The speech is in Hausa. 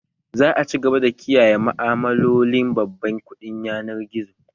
Za a ci gaba da kiyaye ma'amalolin babban kuɗin yanar gizo